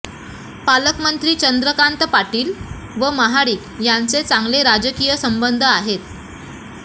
पालकमंत्री चंद्रकांत पाटील व महाडिक यांचे चांगले राजकीय संबंध आहेत